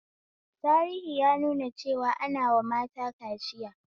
Tahiri ya nuna cewa ana wa mata kaciya